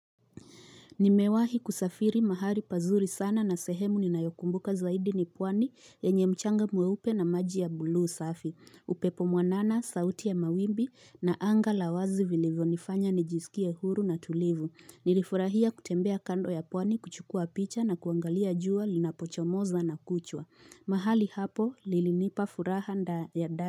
Nimewahi kusafiri mahali pazuri sana na sehemu ninayokumbuka zaidi ni pwani yenye mchanga mweupe na maji ya bluu safi. Upepo mwanana, sauti ya mawimbi na anga la wazi vilivyonifanya nijisikie huru na tulivu. Nilifurahia kutembea kando ya pwani kuchukua picha na kuangalia jua linapochomoza na kuchwa. Mahali hapo lilinipa furaha nda ya ndani.